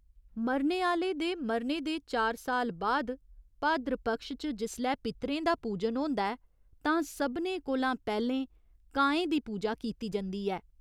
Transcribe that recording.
मरने आह्‌ले दे मरने दे चार साल बाद भाद्र पक्ष च जिसलै पितरें दा पूजन होंदा ऐ तां सभनें कोला पैह्‌लें कांएं दी पूजा कीती जंदी ऐ।